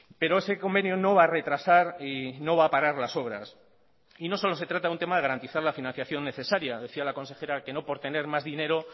pero ese convenio no va a retrasar y no va a parar las obras y no solo se trata de un tema de garantizar la financiación necesaria decía la consejera que no por tener más dinero